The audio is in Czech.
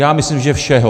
Já myslím, že všeho!